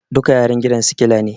Duka yaran gidan sikila ne